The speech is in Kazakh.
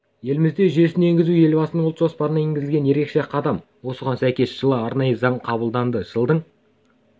елімізде жүйесін енгізу елбасының ұлт жоспарына енгізілген ерекше қадам осыған сәйкес жылы арнайы заң қабылданды жылдың